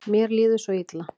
Mér líður svo illa.